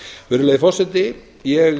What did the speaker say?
virðulegi forseti ég